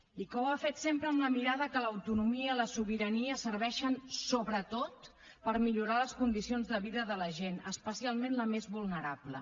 i que ho ha fet sempre amb la mirada que l’autonomia la sobirania serveixen sobretot per millorar les condicions de vida de la gent especialment la més vulnerable